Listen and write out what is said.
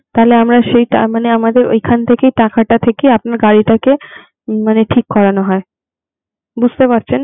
তাহলে আমরা সেই তার মানে আমাদের ঐখান থেকে টাকাটা থেকে আপনার গাড়িটাকে মানে ঠিক করানো হয়. বুঝতে পারছেন?